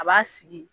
A b'a sigi